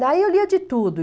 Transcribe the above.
Daí eu lia de tudo.